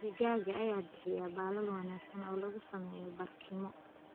Digaagga ayaa bixiya baalal wanaagsan oo lagu sameeyo barkimo.